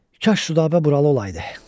Kaş Südabə buralı olaydı.